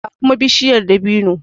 ga kuma bishiya dabino